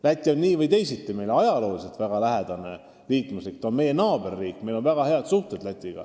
Läti on meile nii või teisiti ajaloo jooksul olnud väga lähedane riik: ta on meie naaberriik, meil on temaga väga head suhted.